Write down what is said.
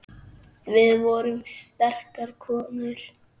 Við vorum sterkar konur.